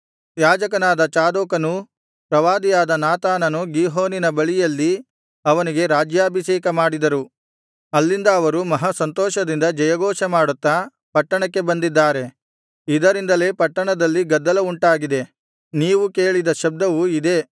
ಯಾಜಕನಾದ ಚಾದೋಕನೂ ಪ್ರವಾದಿಯಾದ ನಾತಾನನೂ ಗೀಹೋನಿನ ಬಳಿಯಲ್ಲಿ ಅವನಿಗೆ ರಾಜ್ಯಾಭಿಷೇಕ ಮಾಡಿದರು ಅಲ್ಲಿಂದ ಅವರು ಮಹಾ ಸಂತೋಷದಿಂದ ಜಯಘೋಷ ಮಾಡುತ್ತಾ ಪಟ್ಟಣಕ್ಕೆ ಬಂದಿದ್ದಾರೆ ಇದರಿಂದಲೇ ಪಟ್ಟಣದಲ್ಲಿ ಗದ್ದಲವುಂಟಾಗಿದೆ ನೀವು ಕೇಳಿದ ಶಬ್ದವು ಇದೇ